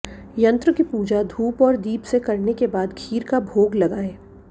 यंत्र की पूजा धूप और दीप से करने के बाद खीर का भोग लगाएं